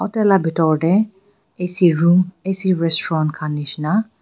etu laga bethor te ac room ac restaurant jisna--